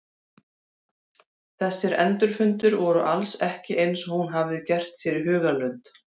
Þessir endurfundir voru alls ekki eins og hún hafði gert sér í hugarlund.